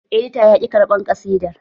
Edita ya ƙi ƙarban ƙasidar